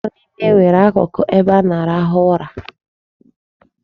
Ụlọ niile nwere akụkụ ebe a na-arahụ ụra.